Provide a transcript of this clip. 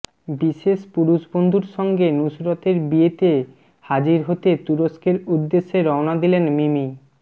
বিশেষ পুরুষবন্ধুর সঙ্গে নুসরতের বিয়েতে হাজির হতে তুরস্কের উদ্দেশ্যে রওনা দিলেন মিমি